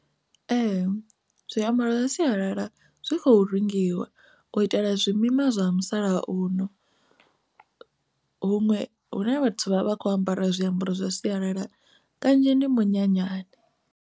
Ee, zwiambaro zwa sialala zwi khou rengiwa u itela zwimima zwa musalauno huṅwe hune vhathu vha vha kho ambara zwiambaro zwa sialala kanzhi ndi minyanyani.